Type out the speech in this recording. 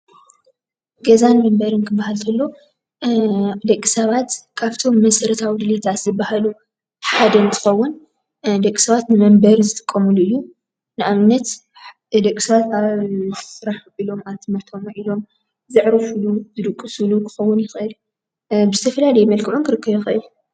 ገዛን መንበርን ክበሃል ከሉ ደቂ ሰባት ከብቶም መሰረታዊ ድልየታት ዝበሃሉ ሓደ እንትኸዉን ደቂ ሰባት ንመንበሪ ዝጥቀምሉ እዩ፡፡ ንኣብነት ደቂ ሰባት ኣብ ስራሕ ዉዒሎም፣ ኣብ ትምህርቲ ዉዒሎም፣ ዝዕርፍሉ፣ ዝድቅስሉ ክከዉን ይክእል፡፡ ብዝተፈላለዩ መልክዑ ክርከብ ይኸእል፡፡